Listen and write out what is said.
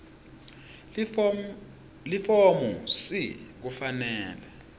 lifomu c kufanele